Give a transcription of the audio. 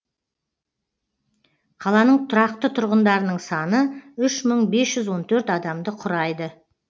қаланың тұрақты тұрғындарының саны үш мың бес жүз он төрт адамды құрайды